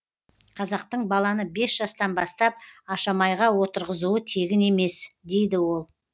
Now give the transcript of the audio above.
қазақтың баланы бес жастан бастап ашамайға отырғызуы тегін емес дейді ол